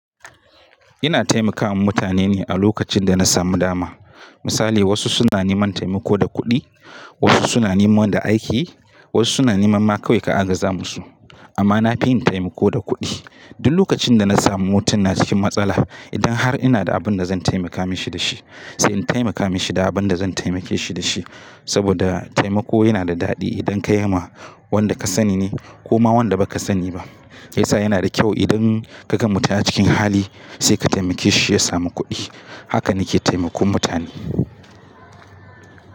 Ina taimaka wa mutane ne a lokacin da na samu dama. Misali wasu suna neman taimako da kuɗi, wasu suna neman da aiki, wasu suna neman ma kawai ka agaza musu. Amma na fi yin taimako da kuɗi. Duk lokacin da na samu mutum na cikin matsala, idan har ina da abin da zan taimaka mashi da shi sai in taimaka mashi da abin da zan taimake shi da shi. Saboda taimako yana da daɗi idan ka yi ma wanda ka sani ne ko ma wanda baka sani ba. Shi yasa yana da kyau, idan ka ga mutum a cikin hali sai ka taimake shi ya samu kuɗi. Haka nake taimakon mutane.